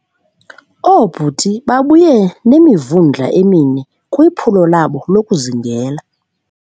Oobhuti babuye nemivundla emine kwiphulo labo lokuzingela.